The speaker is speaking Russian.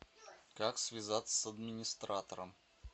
как связаться с администратором